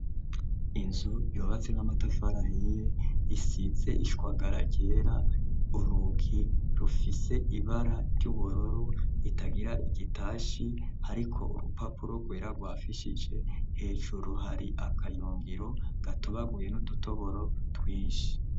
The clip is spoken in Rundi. Inzu yubatse n'amatafari ahiye isizee ishwagara ryera. Urugi rufise ibara ry'ubururu itagira igitashi hariko urupapuro rwera rwafishije hejuru hari akayungiro gatubaguye n'udutoboro twinshi.